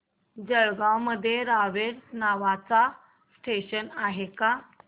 जळगाव मध्ये रावेर नावाचं स्टेशन आहे का